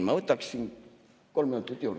Ma võtaksin kolm minutit juurde.